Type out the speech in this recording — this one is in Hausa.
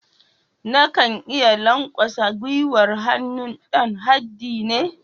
Na kan iya lankwasa gwiwar hannu dan haddi ne.